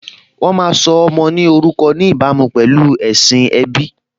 Wọ́n má́a ń sọ ọmọ ní orúkọ ní ìbámu pẹ̀lú ẹ̀sìn ẹbí